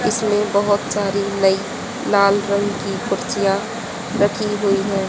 इसमें बहोत सारी नई लाल रंग की कुर्सियां रखी हुई है।